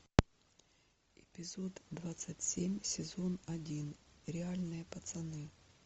эпизод двадцать семь сезон один реальные пацаны